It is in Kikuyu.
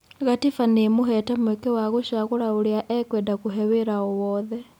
Gatiba nĩĩmuhete mweke wa gũcagũra ũrĩa ekwenda kũhe wĩra o-wothe.